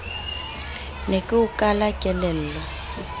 ne ke o kala kelello